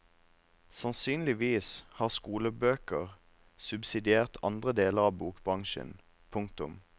Sannsynligvis har skolebøker subsidiert andre deler av bokbransjen. punktum